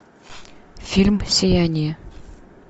фильм сияние